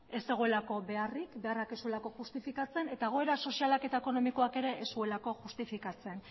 ez zegoelako beharrik beharrak ez zuelako justifikatzen eta egoera sozialak eta ekonomikoak ere ez zuelako justifikatzen